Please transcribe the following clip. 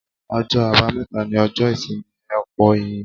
Ọjọ́ àbámẹ́ta ni ọjọ́ ìsinmi ọ̀pọ̀ ènìyàn.